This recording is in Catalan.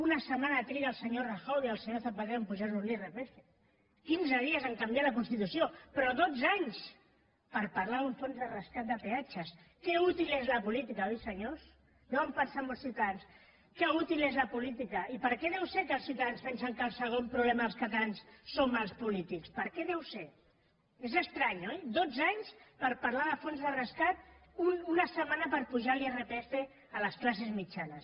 una setmana triguen el senyor rajoy i el senyor zapatero a apujar nos l’irpf quinze dies a canviar la constitució però dotze anys per parlar d’un fons de rescat de peatges que n’és d’útil la política oi senyors deuen pensar molts ciutadans que n’és d’útil la política i per què deu ser que els ciutadans pensen que el segon problema dels catalans som els polítics per què deu ser és estrany oi dotze anys per parlar del fons de rescat una setmana per apujar l’irpf a les classes mitjanes